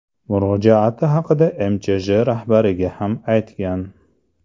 Murojaati haqida MChJ rahbariga ham aytgan.